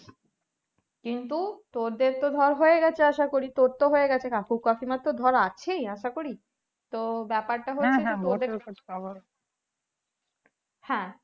কিন্তু তোদের তো ধর হয়ে গাছে আশাকরি তোর তো হয়ে গেছে কাকু কাকিমার তো ধরে আছেই আশা করি তো ব্যাপার তা হচ্ছে হ্যাঁ